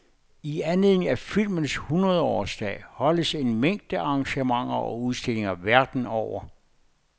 I anledning af filmens hundredeårsdag holdes en mængde arrangementer og udstillinger verden over.